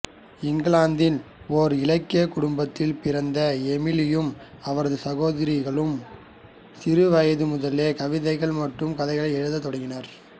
இங்கிலாந்தில் ஒரு இலக்கிய குடும்பத்தில் பிறந்த எமிலியும் அவரது சகோதரிகளும் சிறுவயது முதலே கவிதைகள் மற்றும் கதைகள் எழுதத் தொடங்கினர்